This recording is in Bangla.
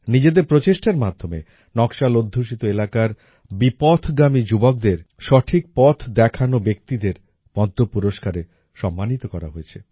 নিজেদের প্রচেষ্টার মাধ্যমে নকশাল অধ্যুষিত এলাকার বিপথগামী যুবকদের সঠিক পথ দেখানো ব্যক্তিদের পদ্ম পুরস্কারে সম্মানিত করা হয়েছে